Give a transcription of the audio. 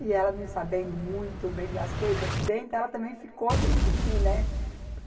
E ela não sabendo muito bem das coisas aqui dentro, ela também ficou sem pedir, né?